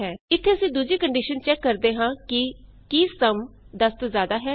ਇਥੇ ਅਸੀਂ ਦੂਜੀ ਕੰਡੀਸ਼ਨ ਚੈਕ ਕਰਦੇ ਹਾਂ ਕਿ ਕੀ ਸਮ 10 ਤੋਂ ਜਿਆਦਾ ਹੈ